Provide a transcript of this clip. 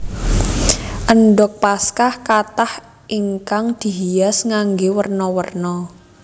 Endhog Paskah kathah ingkang dihias nganggé werna werna